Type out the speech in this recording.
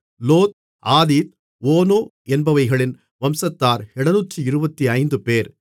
லோத் ஆதீத் ஓனோ என்பவைகளின் வம்சத்தார் 725 பேர்